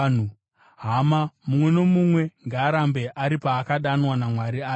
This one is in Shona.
Hama, mumwe nomumwe, ngaarambe ari paakadanwa naMwari ari.